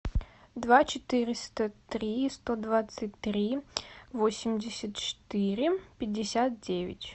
два четыреста три сто двадцать три восемьдесят четыре пятьдесят девять